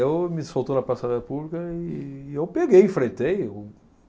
me soltou na praça da pública e eu peguei, enfrentei o.